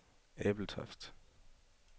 Ebeltoft